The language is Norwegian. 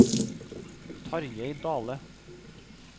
Tarjei Dahle